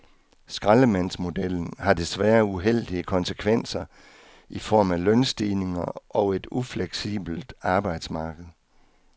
Skraldemandsmodellen har desværre uheldige konsekvenser i form af lønstigninger og et ufleksibelt arbejdsmarked.